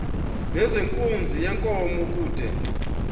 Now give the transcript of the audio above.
nezenkunzi yenkomo kude